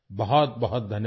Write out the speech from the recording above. बहुत बहुत धन्यवाद